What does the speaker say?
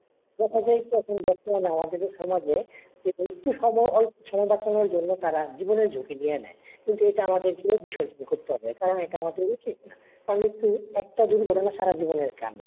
দেখা যায় কি এখন বর্তমানে আমাদের এই সমাজে যে একটু সব অল্প সময় বাঁচানোর জন্য তারা জীবনে ঝুঁকি নিয়ে নেই। কিন্তু এটা আমাদের কিভাবে সহ্য করতে হবে কারণ এটা আমাদের উচিত না। তাহলে কি একটা দুর্ঘটনা সারা জীবনের কান্না।